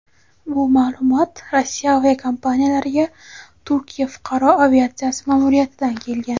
bu ma’lumot Rossiya aviakompaniyalariga Turkiya fuqaro aviatsiyasi ma’muriyatidan kelgan.